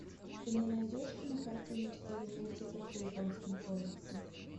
ты мне найдешь кинокартину в стиле мультиков по японским комиксам